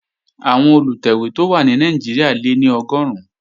Àwọn Olùtẹ̀wé tó wà ní Nàìjíríà lé ní Ọgọ́run